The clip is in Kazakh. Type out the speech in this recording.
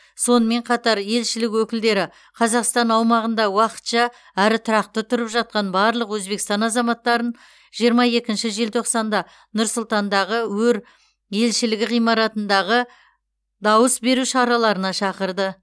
сонымен қатар елшілік өкілдері қазақстан аумағында уақытша әрі тұрақты тұрып жатқан барлық өзбекстан азаматтарын жиырма екінші желтоқсанда нұр сұлтандағы өр елшілігі ғимаратындағы дауыс беру шараларына шақырды